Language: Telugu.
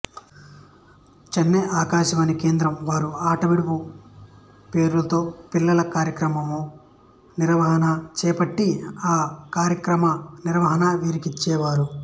చెన్నై ఆకాశవాణి కేద్రం వారు ఆటవిడుపు పేరుతో పిల్లల కార్యక్రమ నిర్వహణ చేపట్టి ఆ కార్యక్రమ నిర్వహణ వీరికిచ్చారు